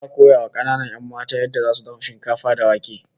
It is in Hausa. Za'a koya wa kananan 'yan matan yadda zasu dafa shinkafa da wake